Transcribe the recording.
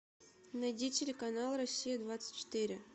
найди телеканал россия двадцать четыре